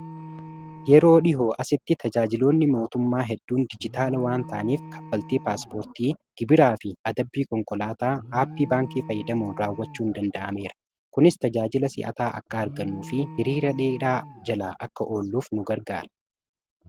yeroo dhihoo asitti tajaajiloonni mootummaa hedduun dijitaala waan ta'aniif kaffaltii paaspoortii gibiraa fi adabbii konkolaataa aappii baankii fayyadhamuu raawwachuu hin danda'ameera kunis tajaajila si'ataa akka argannu fi hiriira dheeraa jala akka oolluuf nu gargaara